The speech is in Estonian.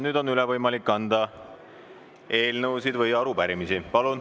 Nüüd on võimalik üle anda eelnõusid ja arupärimisi.